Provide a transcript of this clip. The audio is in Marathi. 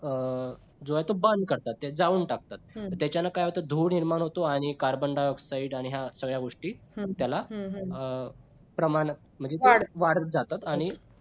अं जेव्हा तो burn करतात जाळून टाकतात त्याच्याने काय होतंय धूर निर्माण होतो आणि carbon dioxide आणि हा सगळ्या गोष्टी प्रमाण त्याला वाढतं जातं आणि